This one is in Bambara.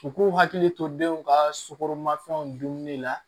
U k'u hakili to denw ka sugoromafɛnw dunni la